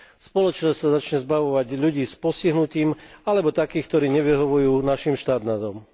Spoločnosť sa začne zbavovať ľudí s postihnutím alebo takých, ktorí nevyhovujú našim štandardom.